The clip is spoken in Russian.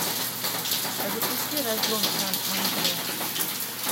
запусти разлом сан андреас